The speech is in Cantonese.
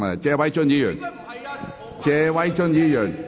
謝偉俊議員，請繼續發言。